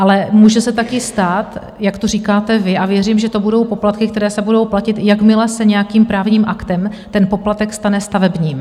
Ale může se taky stát, jak to říkáte vy, a věřím, že to budou poplatky, které se budou platit, jakmile se nějakým právním aktem ten poplatek stane stavebním.